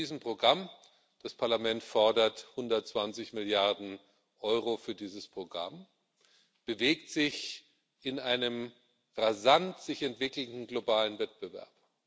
Mit diesem Programm das Parlament fordert 120 Milliarden Euro für dieses Programm bewegt sich die EU in einem sich rasant entwickelnden globalen Wettbewerb.